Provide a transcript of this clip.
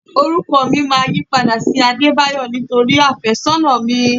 Orúkọ mi máa yípadà sí Adebayo nítorí afésónà mi.